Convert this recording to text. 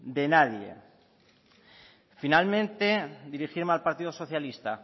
de nadie finalmente dirigirme al partido socialista